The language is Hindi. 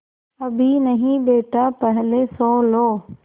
अभी नहीं बेटा पहले सो लो